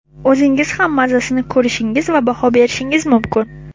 o‘zingiz ham mazasini ko‘rishingiz va baho berishingiz mumkin.